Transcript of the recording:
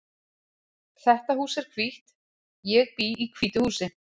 Þetta hús er hvítt. Ég bý í hvítu húsi.